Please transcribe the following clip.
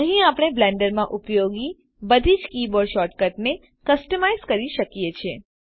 અહી આપણે બ્લેન્ડરમાં ઉપયોગી બધી જ કીબોર્ડ શોર્ટકટને કસ્ટમાઇઝ કરી શકીએ છે